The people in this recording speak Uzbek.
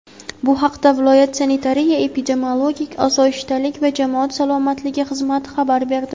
Bu haqda viloyat Sanitariya-epidemiologik osoyishtalik va jamoat salomatligi xizmati xabar berdi.